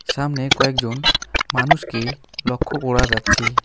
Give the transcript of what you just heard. সামনে কয়েকজন মানুষকে লক্ষ্য করা যাচ্ছে।